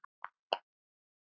Ef það er hægt?